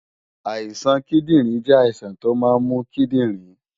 Àìsàn kíndìnrín jẹ́ àìsàn tó máa ń mú kíndìnrín